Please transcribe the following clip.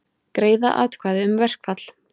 Greiða atkvæði um verkfall